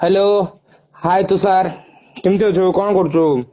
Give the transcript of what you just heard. hello hey Tushar କେମତି ଅଛୁ କଣ କରୁଛୁ